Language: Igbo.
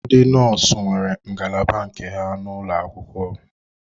Ndị nọọsụ nwere ngalaba nke ha n'ụlọ akwụkwọ.